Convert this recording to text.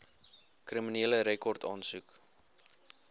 kriminele rekord aansoek